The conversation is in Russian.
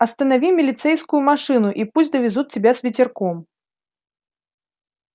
останови милицейскую машину и пусть довезут тебя с ветерком